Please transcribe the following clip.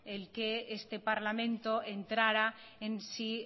el que este parlamento entrara en si